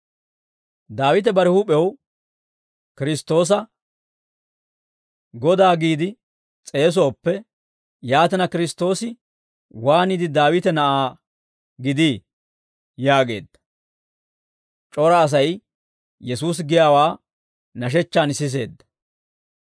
Daawite bare huup'ew Kiristtoosa, ‹Godaa› giide s'eesooppe, yaatina, Kiristtoosi waaniide, Daawite na'aa gidii?» yaageedda. C'ora Asay Yesuusi giyaawaa nashechchaan siseedda.